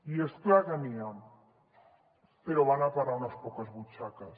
i és clar que n’hi ha però van a parar a unes quantes butxaques